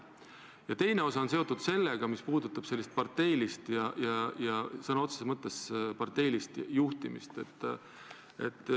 Ja teine osa on seotud sellega, mis puudutab parteilist, sõna otseses mõttes parteilist juhtimist.